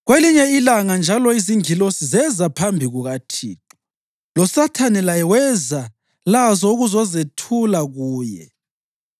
Kwelinye ilanga njalo izingilosi zeza phambi kukaThixo, loSathane laye weza lazo ukuzezethula kuye.